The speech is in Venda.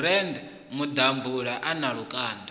bran maḓabula a na lukanda